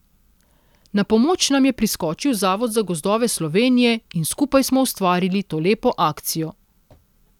Na pomoč nam je priskočil Zavod za gozdove Slovenije in skupaj smo ustvarili to lepo akcijo.